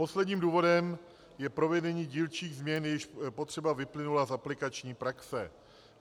Posledním důvodem je provedení dílčích změn, jejichž potřeba vyplynula z aplikační praxe.